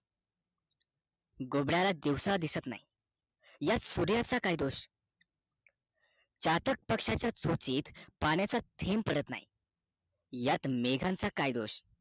घुबडाला दिवसा दिसत नाही यात सुर्या चा काय दोष चातक पक्षाचा चोचीत पाण्याचा थेंब पडत नाही यात मेघांचा काय दोष